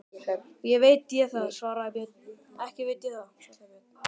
Ekki veit ég það, svaraði Björn.